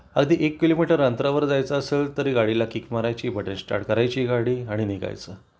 अगदी एक किलोमीटर अंतरावर जायचं असेल तर गाडीला किक मारायची बटन स्टार्ट करायची गाडी आणि निघायचं